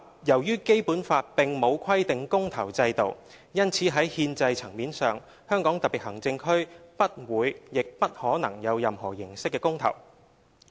由於《基本法》並沒有規定公投制度，因此在憲制層面上，香港特別行政區不會亦不可能有任何形式的公投。